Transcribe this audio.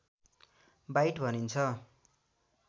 bite भनिन्छ